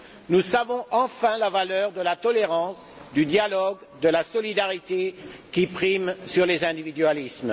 Nous savons enfin la valeur de la tolérance, du dialogue, de la solidarité, qui priment sur les individualismes.